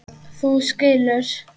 Þú skilur.